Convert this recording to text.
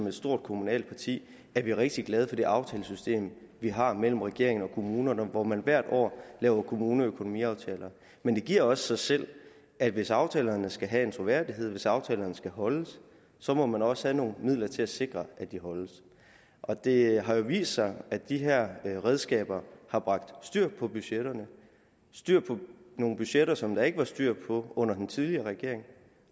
et stort kommunalt parti er vi rigtig glade for det aftalesystem vi har mellem regeringen og kommunerne hvor man hvert år laver kommuneøkonomiaftaler men det giver også sig selv at hvis aftalerne skal have en troværdighed hvis aftalerne skal holdes så må man også have nogle midler til at sikre at de holdes og det har jo vist sig at de her redskaber har bragt styr på budgetterne styr på nogle budgetter som der ikke var styr på under den tidligere regering